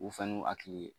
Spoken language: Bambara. U fɛn n'u hakili ye